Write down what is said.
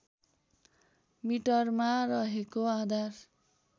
मिटरमा रहेको आधार